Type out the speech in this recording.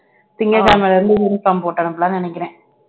திங்கட்கிழமையில இருந்து uniform போட்டு அனுப்பலாம்னு நினைக்கிறேன்